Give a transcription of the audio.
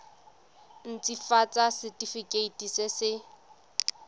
nt hafatsa setefikeiti se se